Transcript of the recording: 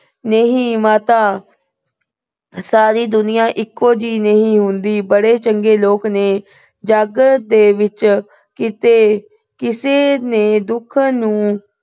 ਨਹੀਂ ਮਾਤਾ, ਸਾਰੀ ਦੁਨੀਆ ਇੱਕੋ ਜਿਹੀ ਨਹੀਂ ਹੁੰਦੀ। ਬੜੇ ਚੰਗੇ ਲੋਕ ਨੇ ਜੱਗ ਦੇ ਵਿੱਚ। ਕਿਤੇ ਕਿਸੇ ਨੇ ਦੁੱਖ ਨੂੰ